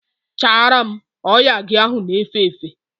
Chara m! Oya gị ahụ na efe efe!